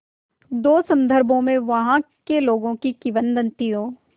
दो संदर्भों में वहाँ के लोगों की किंवदंतियों